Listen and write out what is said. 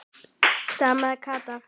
stamaði Kata.